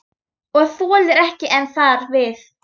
Og þolir ekki enn þar við.